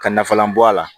Ka nafalan bɔ a la